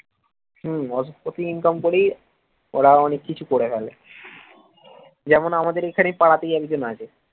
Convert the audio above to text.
হম অসৎ পথে income করেই ওরা অনেক কিছু করে ফেলে যেমন আমাদের এখানে পাড়াতেই একজন আছে